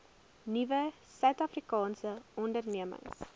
nuwe suidafrikaanse ondernemings